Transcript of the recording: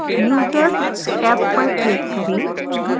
users tab पर click करें